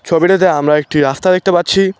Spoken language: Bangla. ছবিটিতে আমরা একটি রাস্তা দেখতে পাচ্ছি।